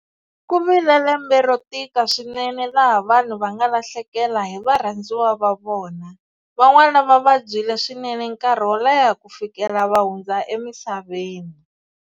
Ku vile lembe ro tika swinene laha vanhu va nga lahlekela hi varhandziwa va vona, van'wana va vabyile swinene nkarhi wo leha ku fikela va hundza emisaveni.